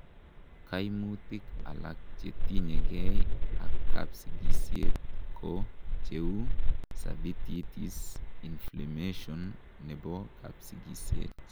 kaimutik alak chetinyegei ak kapsigisiet ko cheu:cervicitis inflammation nebo kapsigisiet